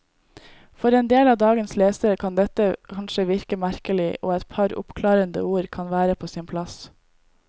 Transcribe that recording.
For endel av dagens lesere kan dette kanskje virke merkelig, og et par oppklarende ord kan være på sin plass.